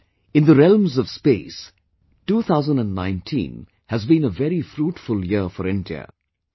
In fact, in the realms of Space, 2019 has been a very fruitful year for India